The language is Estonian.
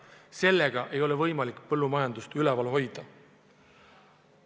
Sedasi ei ole võimalik põllumajandust üleval hoida.